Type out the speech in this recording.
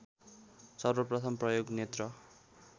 सर्वप्रथम प्रयोग नेत्र